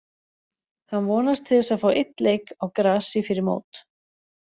Hann vonast til þess að fá einn leik á grasi fyrir mót.